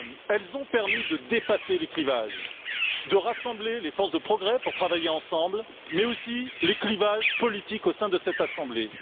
Elles ont permis de dépasser les clivages, de rassembler les forces de progrès pour travailler ensemble, mais aussi les clivages politiques au sein de cette Assemblée.